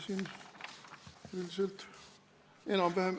Siin üldiselt enam-vähem ...